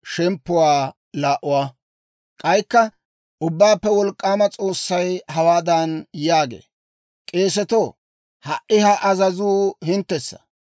K'aykka Ubbaappe Wolk'k'aama S'oossay hawaadan yaagee; «K'eesetoo, ha"i ha azazuu hinttessa.